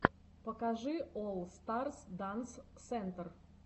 покажи олл старс данс сентр